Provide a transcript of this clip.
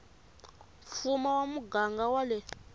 mfumo wa muganga wa le